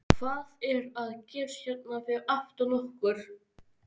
Hvað er að gerast hérna fyrir aftan okkur?